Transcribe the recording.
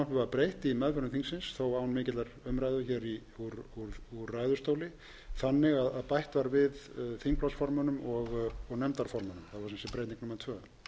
breytt í meðförum þingsins þó án mikillar umræðu hér úr ræðustóli þannig að bætt var við þingflokksformönnum og nefndarformönnum það var sem sé breyting númer tvö